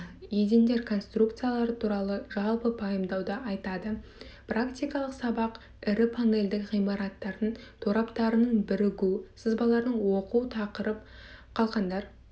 едендер конструкциялары туралы жалпы пайымдауды айтады практикалық сабақ ірі панельді ғимараттардың тораптарының бірігу сызбаларын оқу тақырып қалқандар